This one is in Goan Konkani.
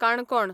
काणकोण